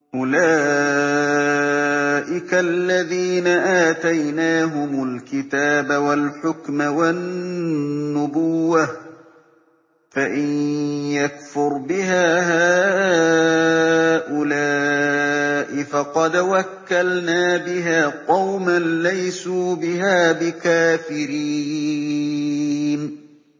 أُولَٰئِكَ الَّذِينَ آتَيْنَاهُمُ الْكِتَابَ وَالْحُكْمَ وَالنُّبُوَّةَ ۚ فَإِن يَكْفُرْ بِهَا هَٰؤُلَاءِ فَقَدْ وَكَّلْنَا بِهَا قَوْمًا لَّيْسُوا بِهَا بِكَافِرِينَ